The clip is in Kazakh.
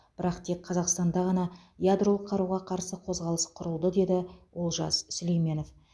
бірақ тек қазақстанда ғана ядролық қаруға қарсы қозғалыс құрылды деді олжас сүлейменов